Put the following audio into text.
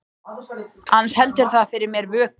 Annars heldur það fyrir mér vöku.